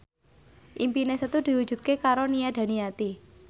impine Setu diwujudke karo Nia Daniati